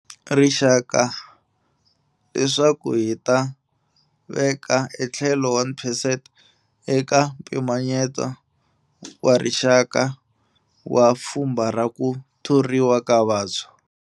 Rixaka leswaku hi ta veka etlhelo 1 percent eka mpimanyeto wa rixaka wa pfhumba ra ku thoriwa ka vantshwa.